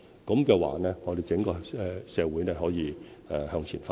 這樣的話，我們整個社會便可以向前發展。